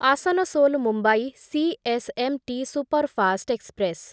Asansol Mumbai CSMT superfast express